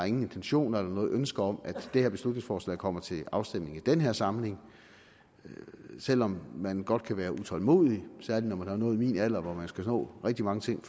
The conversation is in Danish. intentioner eller noget ønske om at det her beslutningsforslag kommer til afstemning i den her samling selv om man godt kan være utålmodig så er det når man har nået min alder hvor man jo skal nå rigtig mange ting